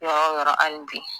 Yɔrɔ yɔrɔ ali bi